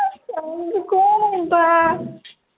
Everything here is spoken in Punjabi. ਤੂੰ ਕਿਉਂ ਰੋਤਾ ਹੈ